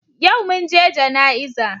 Yau mun je jana'iza.